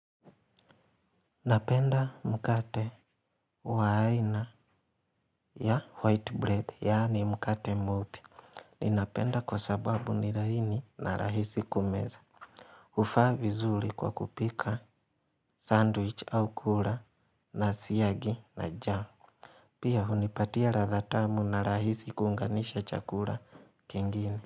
Napenda mkate waaina ya white bread, yaani mkate mweupe. Ninapenda kwa sababu nilaini na rahisi kumeza. Hufaa vizuri kwa kupika sandwich au kuula na siyagi na jamu. Pia hunipatia ladhatamu na rahisi kuunganisha chakula kingine.